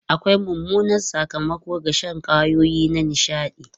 Akwai mummunan sakamako ga shan kwayoyi na nishaɗi.